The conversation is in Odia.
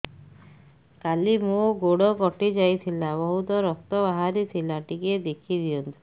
କାଲି ମୋ ଗୋଡ଼ କଟି ଯାଇଥିଲା ବହୁତ ରକ୍ତ ବାହାରି ଥିଲା ଟିକେ ଦେଖି ଦିଅନ୍ତୁ